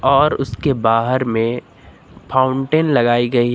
और उसके बाहर में फाउंटेन लगाई गई है।